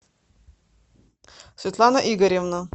светлана игоревна